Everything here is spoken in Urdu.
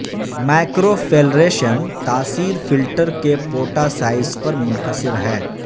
مائکروفیلریشن تاثیر فلٹر کے پوٹا سائز پر منحصر ہے